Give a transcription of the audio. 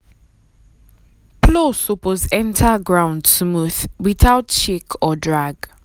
plow suppose enter ground smooth without shake or drag.